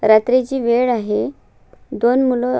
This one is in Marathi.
रात्रीची वेळ आहे दोन मुल--